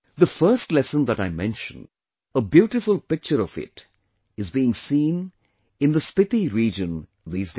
The first lesson that I mentioned, a beautiful picture of it is being seen in the Spiti region these days